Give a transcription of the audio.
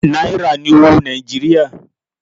Náírà ní owó Nàìjíríà.